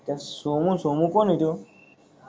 तो सोमू सोमू कोण हाय तो